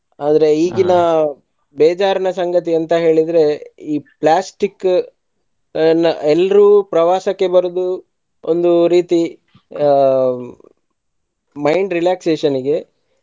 ಆದರೆ ಬೇಜಾರಿನ ಸಂಗತಿ ಎಂತ ಹೇಳಿದ್ರೆ ಈ plastic ಅನ್ನ ಎಲ್ರೂ ಪ್ರವಾಸಕ್ಕೆ ಬರುವುದು ಒಂದು ರೀತಿ ಆ mind relaxation ಇಗೆ.